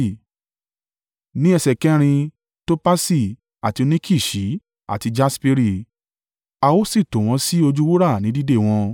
ní ẹsẹ̀ kẹrin, topasi, àti óníkìsì àti jasperi. A ó sì tò wọ́n sí ojú wúrà ní dìde wọn.